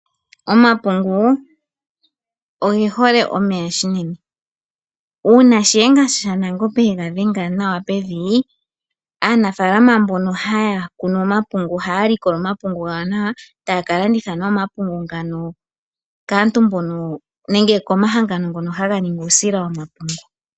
Omapungu oge hole omeya unene. Uuna Shiyenga shaNangombe yega shenga nawa pevi aanafaalama mbono haya kunu omapungu ohaya likola omapungu gawo nawa etaya kalanditha nee omapungu ngano kaantu mbono nenge komahangano ngono haga ningi uusila womapungu.